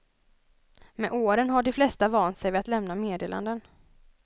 Med åren har de flesta vant sig vid att lämna meddelanden.